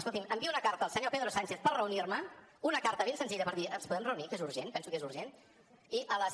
escolti’m envio una carta al senyor pedro sánchez per reunir m’hi una carta ben senzilla per dir ens podem reunir que és urgent penso que és urgent i a les